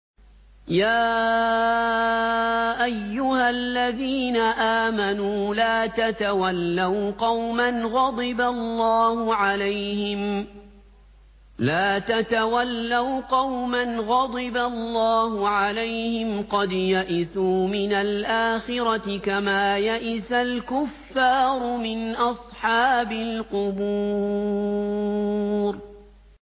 يَا أَيُّهَا الَّذِينَ آمَنُوا لَا تَتَوَلَّوْا قَوْمًا غَضِبَ اللَّهُ عَلَيْهِمْ قَدْ يَئِسُوا مِنَ الْآخِرَةِ كَمَا يَئِسَ الْكُفَّارُ مِنْ أَصْحَابِ الْقُبُورِ